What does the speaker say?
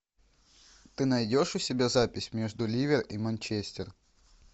ты найдешь у себя запись между ливер и манчестер